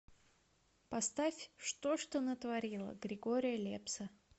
поставь что ж ты натворила григория лепса